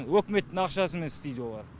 үкіметтің ақшасымен істейді олар